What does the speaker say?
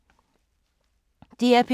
DR P2